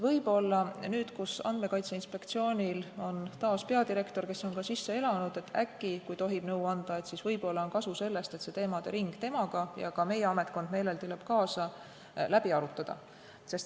Võib-olla nüüd, kui Andmekaitse Inspektsioonil on taas peadirektor, kes on ka sisse elanud, , on kasu sellest, et see teemade ring temaga – ka meie ametkond meeleldi läheb kaasa – läbi arutada.